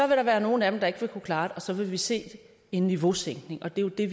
vil der være nogle af dem der ikke vil kunne klare og så vil vi se en niveausænkning og det det